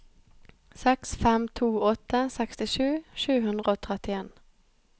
seks fem to åtte sekstisju sju hundre og trettien